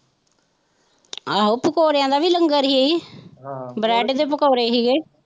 ਆਹੋ ਪਕੋੜਿਆਂ ਦਾ ਵੀ ਲੰਗਰ ਹੀ ਬਰੈਡ ਦੇ ਪਕੋੜੇ ਹੀ ਗੇ।